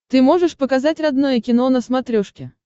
ты можешь показать родное кино на смотрешке